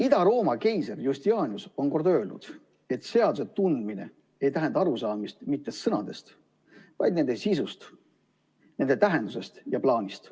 Ida-Rooma keiser Justinianus on öelnud, et seaduse tundmine ei tähenda arusaamist mitte sõnadest, vaid nende sisust, nende tähendusest ja plaanist.